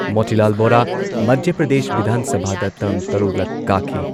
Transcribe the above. ꯃꯣꯇꯤꯂꯥꯜ ꯕꯣꯔꯥ, ꯃꯙ꯭ꯌ ꯄ꯭ꯔꯗꯦꯁ ꯕꯤꯙꯥꯟ ꯁꯚꯥꯗ ꯇꯔ꯭ꯝ ꯇꯔꯨꯛꯂꯛ ꯀꯥꯈꯤ